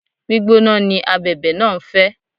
Gbígbóná ni Abẹ̀bẹ̀ náà ń fẹ́.